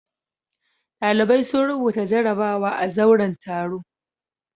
Ɗalibai sun rubuta jarabawa a zauren taro.